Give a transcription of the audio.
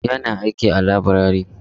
Ya na aiki a laburare.